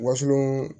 Waslon